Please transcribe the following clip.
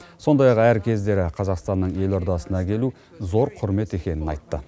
сондай ақ әр кездері қазақстанның елордасына келу зор құрмет екенін айтты